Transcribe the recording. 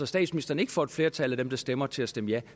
statsministeren ikke får et flertal af dem der stemmer til at stemme ja